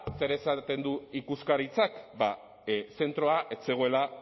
zer esaten du ikuskaritzak zentroa ez zegoela